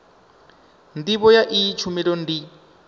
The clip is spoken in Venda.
ndivho ya iyi tshumelo ndi